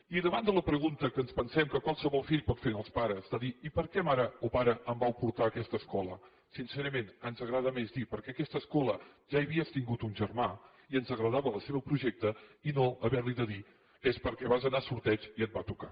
i davant de la pregunta que ens pensem que qualsevol fill pot fer als pares de dir i per què mare o pare em vau portar a aquesta escola sincerament ens agrada més dir perquè en aquesta escola ja hi havies tingut un germà i ens agradava el seu projecte i no haver li de dir és perquè vas anar a sorteig i et va tocar